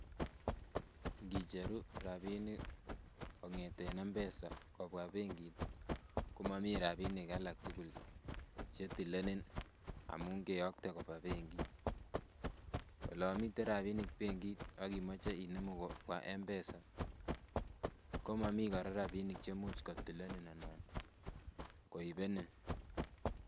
Ngicheru rapinik kong'eten M-pesa kobwa benkit komomii rapinik alak tugul chetilenin amun keyokte koba benkit. Olon miten rapinik benkit akimoche inemu kobwa M-pesa komomii kora rapinik chemuch kotilenin ana koibenin